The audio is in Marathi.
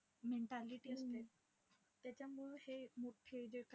Mentality असते. त्याच्यामुळे हे मोठे जे